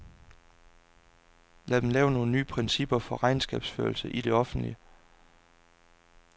Lad dem lave nogle nye principper for regnskabsførelse i det offentlige.